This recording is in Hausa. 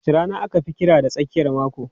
Wace rana aka fi kira da tsakiyar mako?